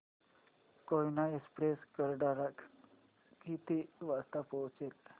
Koyna express Karad ला किती वाजता पोहचेल